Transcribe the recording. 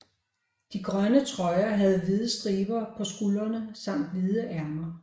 De grønne trøjer havde hvide striber på skulderne samt hvide ærmer